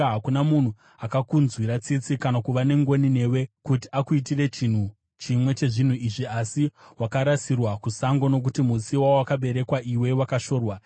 Hakuna munhu akakunzwira tsitsi kana kuva nengoni newe kuti akuitire chinhu chimwe chezvinhu izvi. Asi, wakarasirwa kusango, nokuti musi wawakaberekwa iwe wakashorwa.